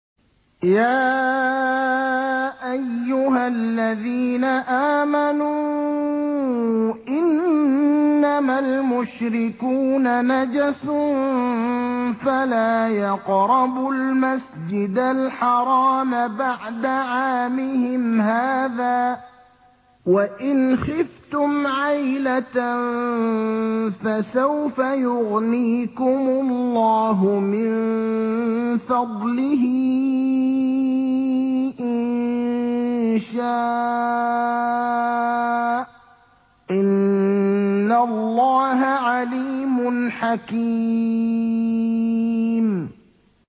يَا أَيُّهَا الَّذِينَ آمَنُوا إِنَّمَا الْمُشْرِكُونَ نَجَسٌ فَلَا يَقْرَبُوا الْمَسْجِدَ الْحَرَامَ بَعْدَ عَامِهِمْ هَٰذَا ۚ وَإِنْ خِفْتُمْ عَيْلَةً فَسَوْفَ يُغْنِيكُمُ اللَّهُ مِن فَضْلِهِ إِن شَاءَ ۚ إِنَّ اللَّهَ عَلِيمٌ حَكِيمٌ